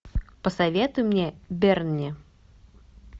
посоветуй мне берни